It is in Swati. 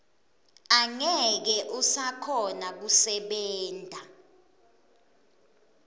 angeke usakhona kusebenta